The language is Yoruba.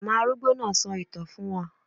Màmá arúgbó náà sọ ìtàn fún wa